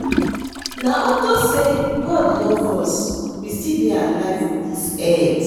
Na unto say God love us we still dey alive for dis earth